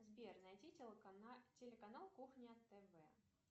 сбер найди телеканал кухня тв